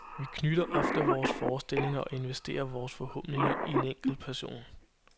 Vi knytter ofte vores forestillinger og investerer vores forhåbninger i en enkelt person.